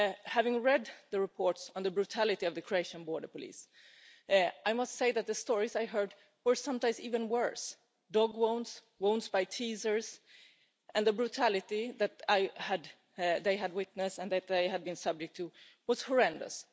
Having read the reports on the brutality of the Croatian border police, I must say that the stories I heard were sometimes even worse dog wounds, wounds by Tasers and the brutality that they had witnessed and that they had been subject to was horrendous.